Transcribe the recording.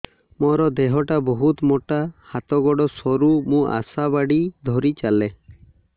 ମୋର ଦେହ ଟା ବହୁତ ମୋଟା ହାତ ଗୋଡ଼ ସରୁ ମୁ ଆଶା ବାଡ଼ି ଧରି ଚାଲେ